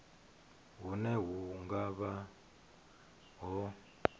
hune hu nga vha ho